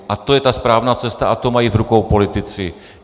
A to je ta správná cesta a tu mají v rukou politici.